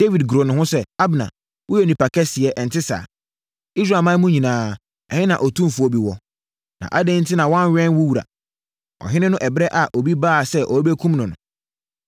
Dawid goroo ne ho sɛ, “Abner, woyɛ onipa kɛseɛ, ɛnte saa? Israelman mu nyinaa, ɛhe na otumfoɔ bi wɔ? Na adɛn enti na woannwɛn wo wura, ɔhene no ɛberɛ a obi baa sɛ ɔrebɛkum no no?